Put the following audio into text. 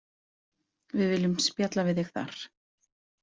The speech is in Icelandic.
Við viljum spjalla við þig þar.